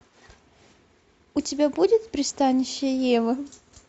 у тебя будет пристанище евы